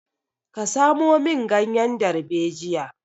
Ka samo min ganyen darbejiya!